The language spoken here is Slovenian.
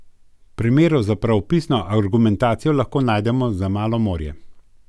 Primerov za pravopisno argumentacijo lahko najdemo za malo morje.